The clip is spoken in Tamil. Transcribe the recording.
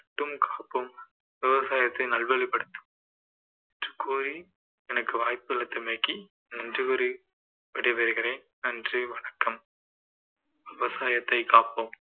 மட்டும் காப்போம் விவசாயத்தை நல்வழிப்படுத்த கோரி எனக்கு வாய்ப்பளித்தமைக்கு நன்றி கூறி விடைபெறுகிறேன் நன்றி வணக்கம் விவசாயத்தை காப்போம்